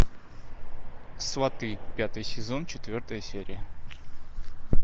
сваты пятый сезон четвертая серия